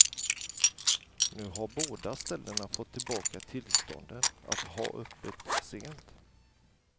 Nu har båda ställena fått tillbaka tillstånden att ha öppet sent.